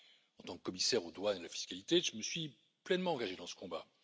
En tant que commissaire aux douanes et à la fiscalité, je me suis pleinement engagé dans ce combat.